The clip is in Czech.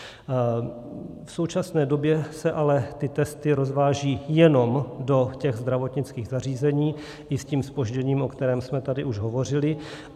V současné době se ale ty testy rozvážejí jenom do těch zdravotnických zařízení, i s tím zpožděním, o kterém jsme tady už hovořili.